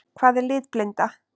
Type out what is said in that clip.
Hvað er litblinda?